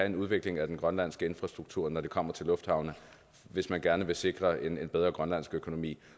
en udvikling af den grønlandske infrastruktur når det kommer til lufthavne hvis man gerne vil sikre en bedre grønlandsk økonomi